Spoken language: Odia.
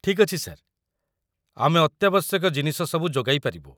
ଠିକ୍ ଅଛି, ସାର୍ । ଆମେ ଅତ୍ୟାବଶ୍ୟକ ଜିନିଷ ସବୁ ଯୋଗାଇ ପାରିବୁ।